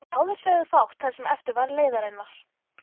Báðir sögðu fátt það sem eftir var leiðarinnar.